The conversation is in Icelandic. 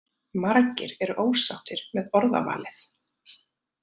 Margir eru ósáttir með orðavalið